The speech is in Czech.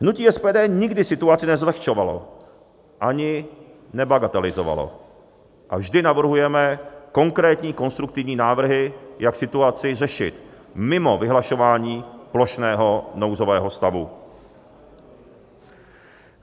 Hnutí SPD nikdy situaci nezlehčovalo ani nebagatelizovalo a vždy navrhujeme konkrétní konstruktivní návrhy, jak situaci řešit mimo vyhlašování plošného nouzového stavu.